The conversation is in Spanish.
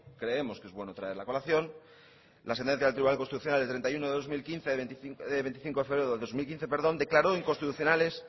creemos que es bueno traerla a colación la sentencia del tribunal constitucional del veinticinco de febrero de dos mil quince declaró inconstitucionales